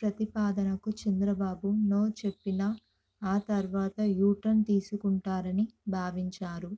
ప్రతిపాదనకు Chandrababu no చెప్పినా ఆ తర్వాత యూటర్న్ తీసుకుంటారని భావించారు